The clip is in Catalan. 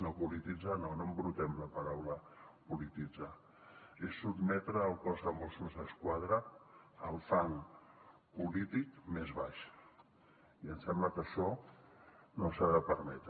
no polititzar no no embrutem la paraula polititzar és sotmetre el cos de mossos d’esquadra al fang polític més baix i em sembla que això no s’ha de permetre